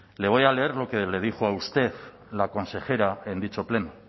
le voy a leer lo que le dijo la consejera en dicho pleno